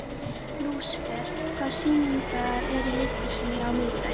Lúsifer, hvaða sýningar eru í leikhúsinu á miðvikudaginn?